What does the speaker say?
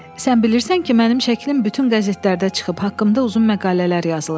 “Sən bilirsən ki, mənim şəklim bütün qəzetlərdə çıxıb, haqqımda uzun məqalələr yazılıb.”